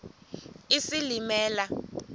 isilimela